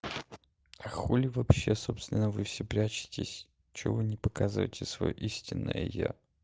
а хули вообще собственно вы все прячетесь чего вы не показываете своё истинное я